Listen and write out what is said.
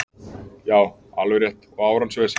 Já, alveg rétt og árans vesen